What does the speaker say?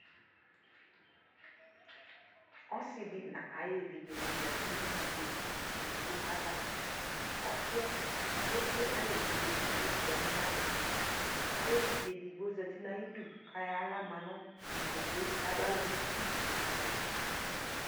ɔsiidi nʋ ayi ɛvidzɛ zati nʋ ikpɔkʋ ɛdigbɔ aɣa, ɔsiiɛ ɛkplɛ ayi ɛvidzɛ ɛdigbɔ yadʋ nʋ adʋkʋ, ayi ɛvidzɛ ɛdigbɔ zati nʋ ayidʋ kʋ ayɔ ala manʋ ikpɔkʋɛ kʋ ɛdigbɔ manʋ ʋti